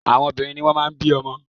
Àwọn obìnrin ni wọ́n máà ń bí ọmọ.